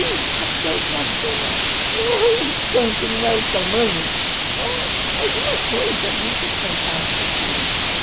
porque o problema não é o santo, não é o tamanho, é alguma coisa muito fantástica que eles têm.